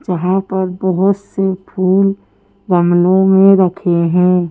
जहाँ पर बहुत से फूल गमलों में रखे हैं।